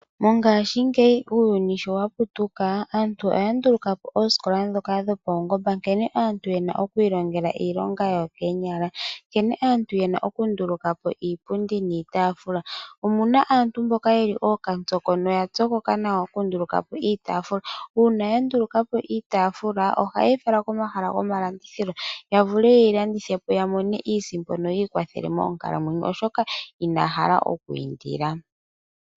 Mongashingeyi uuyuni sho waputuka, aantu oya ndulukapo oosikola dhoka dhopaungomba nkene aantu yena okwiilongela iilonga yawo koonyala, nankene aantu yena okundulukapo iipundi niitaafula. Omuna aantu mboka ya pyokoka nawa okundulukapo iitaafula. Uuna ya ndulukapo iitaafula, ohaye yi fala komahala gomalandithilo, yo yavule okuyi landithapo yo yiimonene mo iisimpo oshoka inaya hala okwiindila.